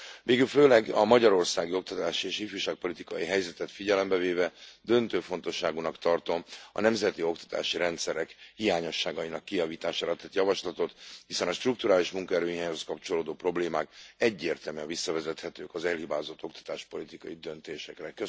Végül főleg a magyarországi oktatási és ifjúságpolitikai helyzetet figyelembe véve döntő fontosságúnak tartom a nemzeti oktatási rendszerek hiányosságainak kijavítására tett javaslatot, hiszen a strukturális munkaerőhiányhoz kapcsolódó problémák egyértelműen visszavezethetők az elhibázott oktatáspolitikai döntésekre.